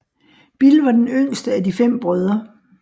Bill var den yngste af de fem brødre